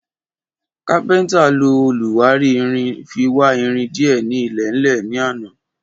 Kápéntà ló òlúwari irin fi wá irin dìé ni ilèlè ní àná